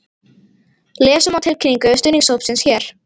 Lesa má tilkynningu stuðningshópsins hér